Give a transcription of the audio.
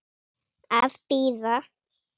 Að bíða.